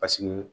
Paseke